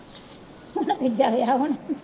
ਹਨਾ ਤੀਜਾ ਵਿਆਹ ਹੁਣ